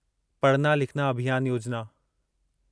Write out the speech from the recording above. पढ़ना लिखना अभियान योजिना